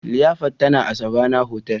liyafar tana a Savannah hotel